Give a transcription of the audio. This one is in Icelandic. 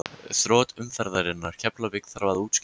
Þrot umferðarinnar: Keflavík Þarf að útskýra?